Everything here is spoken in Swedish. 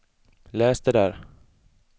läs det där